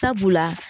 Sabula